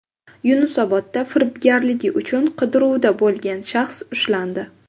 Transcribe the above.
Yunusobodda firibgarligi uchun qidiruvda bo‘lgan shaxs ushlandi.